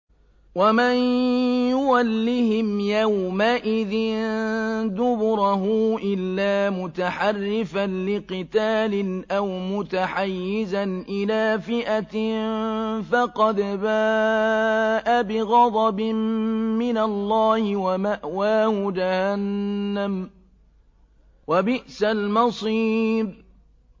وَمَن يُوَلِّهِمْ يَوْمَئِذٍ دُبُرَهُ إِلَّا مُتَحَرِّفًا لِّقِتَالٍ أَوْ مُتَحَيِّزًا إِلَىٰ فِئَةٍ فَقَدْ بَاءَ بِغَضَبٍ مِّنَ اللَّهِ وَمَأْوَاهُ جَهَنَّمُ ۖ وَبِئْسَ الْمَصِيرُ